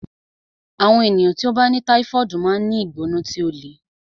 Àwọn ènìyàn tí ó bá ní táífọ̀ọdu máa ń ní ìgbóná tí ó le